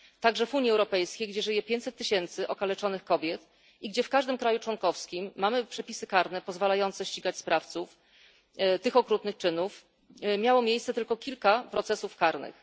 Także w Unii Europejskiej, gdzie żyje pięćset tysięcy okaleczonych kobiet i gdzie w każdym kraju członkowskim mamy przepisy karne pozwalające ścigać sprawców tych okrutnych czynów, miało miejsce tylko kilka procesów karnych.